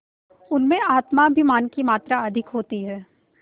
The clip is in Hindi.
उनमें आत्माभिमान की मात्रा अधिक होती है